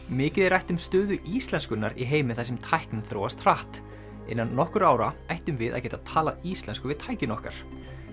mikið er rætt um stöðu íslenskunnar í heimi þar sem tæknin þróast hratt innan nokkurra ára ættum við að geta talað íslensku við tækin okkar